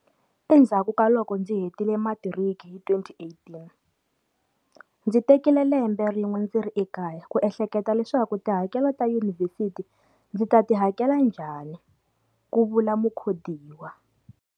Endzhaku ka loko ndzi hetile matiriki hi 2018, ndzi tekile lembe rin'we ndzi ri ekaya ku enhleketa leswaku tihakelo ta Yunivhesiti ndzi ta ti hakela njhani, Ku vula Mukhodiwa.